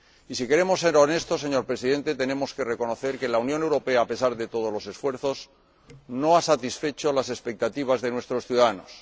Y, si queremos ser honestos, señor Presidente, tenemos que reconocer que la Unión Europea, a pesar de todos los esfuerzos, no ha satisfecho las expectativas de nuestros ciudadanos.